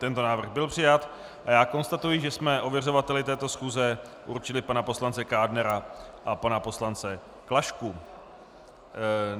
Tento návrh byl přijat a já konstatuji, že jsme ověřovateli této schůze určili pana poslance Kádnera a pana poslance Klašku.